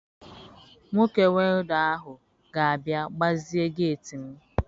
Nwoke welda ahụ ga-abịa gbazie geeti m.